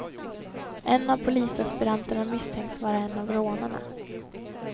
En av polisaspiranterna misstänks vara en av rånarna.